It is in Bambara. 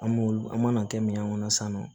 An b'olu an mana kɛ minɛn kɔnɔ sisan nɔ